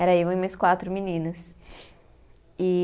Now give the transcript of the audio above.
Era eu e mais quatro meninas. E